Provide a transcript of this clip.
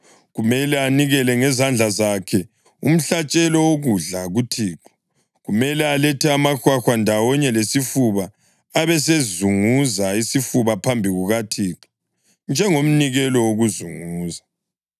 Kumele anikele ngezandla zakhe umhlatshelo wokudla kuThixo. Kumele alethe amahwahwa, ndawonye lesifuba, abesezunguza isifuba phambi kukaThixo njengomnikelo wokuzunguza.